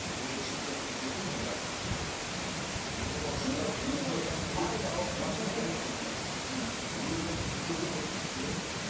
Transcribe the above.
мен де шымкенттің жігітімін бірақ менің ортамда шашын дрэд қылып өрген жігітті көрген жоқпын да